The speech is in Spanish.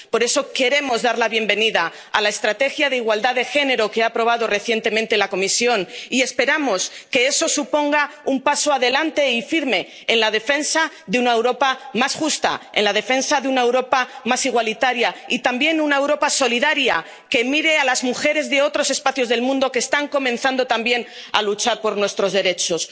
Por eso queremos dar la bienvenida a la Estrategia para la Igualdad de Género que ha aprobado recientemente la Comisión y esperamos que eso suponga un paso adelante y firme en la defensa de una Europa más justa, en la defensa de una Europa más igualitaria y también de una Europa solidaria, que mire a las mujeres de otros espacios del mundo que están comenzando también a luchar por nuestros derechos.